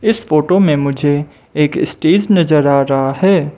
इस फोटो में मुझे एक स्टेज नजर आ रहा है।